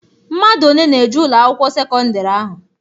Mmadụ one na-eje Ụlọ akwụkwọ sekọndrị ahụ?